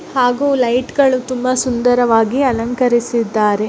ಹಾಗೂ ಲೈಟ್ ಗಳು ತುಂಬಾ ಸುಂದರವಾಗಿ ಅಲಂಕರಿಸಿದ್ದಾರೆ.